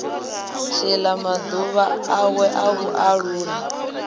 tshila maḓuvha awe a vhualuwa